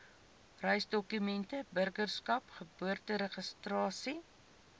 reisdokumente burgerskap geboorteregistrasie